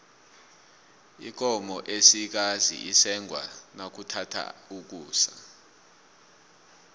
ikomo esikazi isengwa nakuthatha ukusa